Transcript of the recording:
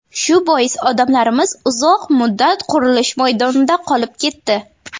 Shu bois odamlarimiz uzoq muddat qurilish maydonida qolib ketdi.